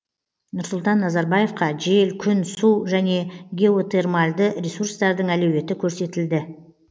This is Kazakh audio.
нұрсұлтан назарбаевқа жел күн су және геотермальды ресурстардың әлеуеті көрсетілді